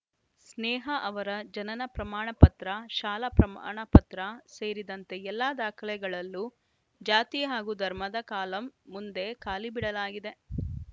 ಸ್ನೇಹ ಅವರ ಜನನ ಪ್ರಮಾಣ ಪತ್ರ ಶಾಲಾ ಪ್ರಮಾಣಪತ್ರ ಸೇರಿದಂತೆ ಎಲ್ಲ ದಾಖಲೆಗಳಲ್ಲೂ ಜಾತಿ ಹಾಗೂ ಧರ್ಮದ ಕಾಲಂ ಮುಂದೆ ಖಾಲಿ ಬಿಡಲಾಗಿದೆ